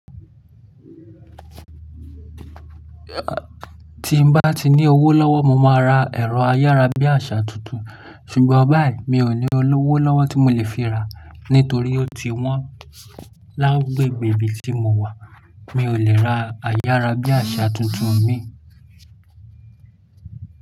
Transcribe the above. Ti n bá ti ní owó lọ́wọ́, mo máa ra ẹ̀rọ ayárabíàṣá tuntun, ṣùgbọ́n báyìí mi ò ní owó lọ́wọ́ tí mo lè fi ra, nítorí ó ti wọ́n lágbègbè ibi tí mo wà. Mi ò lè ra ayárabíàṣá tuntun mi.